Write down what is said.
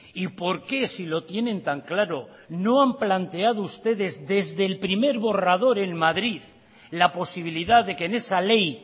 y por qué si lo tienen tan claro no han planteado ustedes desde el primer borrador en madrid la posibilidad de que en esa ley